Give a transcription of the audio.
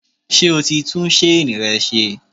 Ṣé o ti tún ṣéènì rẹ ṣe?